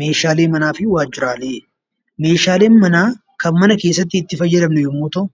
Meeshaalee manaa fi waajjiraalee. Meeshaaleen manaa kan mana keessatti itti fayyadamnu yommuu ta'u;